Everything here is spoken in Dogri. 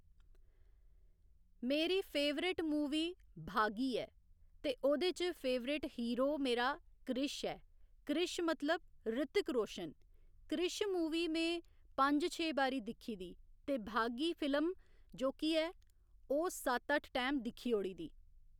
मेरी फेवरेट मूवी 'भागी' ऐ ते ओह्‌दे च फेवरेट हिरो मेरा क्रिश ऐ क्रिश मतलब ऋितिक रोशन क्रिश मूवी में पंज छे बारी दिक्खी दी ते भागी फिल्म जोह्की ऐ ओह् सत्त अट्ठ टैम दिक्खी ओड़ी दी